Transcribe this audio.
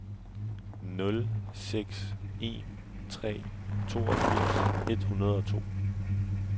nul seks en tre toogfirs et hundrede og to